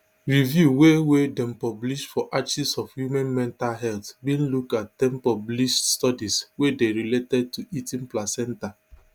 review wey wey dem publish for archives of womens mental health bin look at ten published studies wey dey related to eating placenta